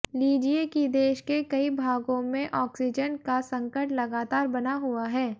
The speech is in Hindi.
लीजिए कि देश के कई भागों में ऑक्सीजन का संकट लगातार बना हुआ है